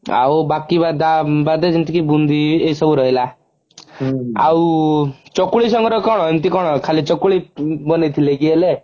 ଆଉ ବାକି ବାଦାମ ମାନେ ଯେମତିକି ବୁନ୍ଧି ଏଇସବୁ ରହିଲା ଆଉ ଚକୁଳି ସାଙ୍ଗରେ କଣ ଏମିତି କଣ ଖାଲି ଚକୁଳି ବନେଇଥିଲେ କି ହେଲେ